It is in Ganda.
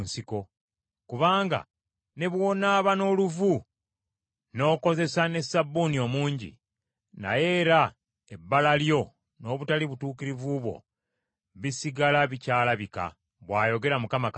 Kubanga ne bw’onaaba n’oluvu n’okozesa ne sabbuuni omungi, naye era ebbala lyo n’obutali butuukirivu bwo bisigala bikyalabika,” bw’ayogera Mukama Katonda.